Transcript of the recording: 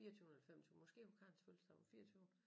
Fireogtyvende eller femogtyve måske på Karen fødselsdag den fireogtyvende